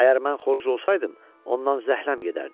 Əgər mən xoruz olsaydım, ondan zəhləm gedərdi.